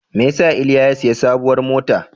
Me ya sa Iliya ya sayi sabuwar mota?